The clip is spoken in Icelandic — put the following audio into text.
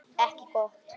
Ekki gott.